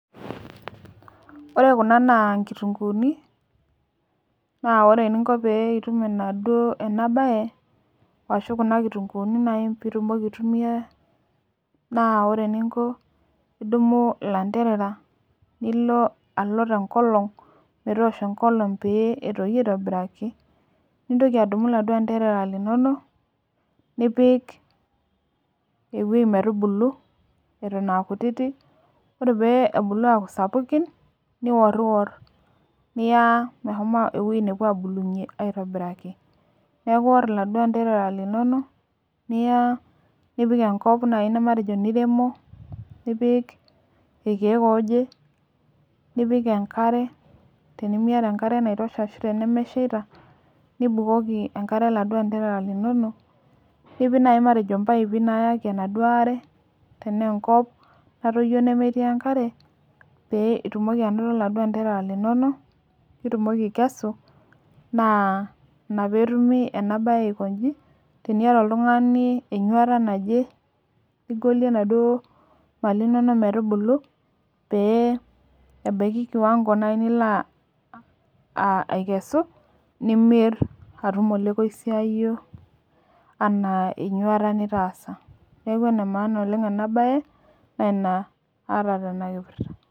Ore kuna nkitunkuuni naa ore eninko pee itum ena baye ashuu kuna kitunkuuni peeitumoki aitumiya naa idumu ilanterera pee eosh enkolong nintoki adumu nipik ewueji mwtubulu ore pebulu aaku sapuk niya ewueji nepuo abulunyie aitobiraki neeku ore iladuoa enterera linonok nipik irkiek ooje nipik enkare tenimiata enkare naitosha nibukoki enkare iladuo antarera linonok nipik enaduo aare tenaa enkop natoyio nemetii enkare peetumoki anoto iladuo anterera linonok nitumoki aikesu naa ina peetumi ena baye aikonchi teniata oltung'ani enyuata naje nigolie enaaduo mali inonok metubulu pee ebaiki kiwango naaji nilo aikesu nimir atum olekoisiayio litaasa neeku enamaana ena baye naa ina aata tena saa